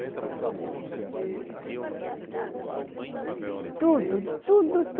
A senhora fala da igreja e tem isso a igreja está presente em vários momentos da sua vida, né. Tudo, tudo,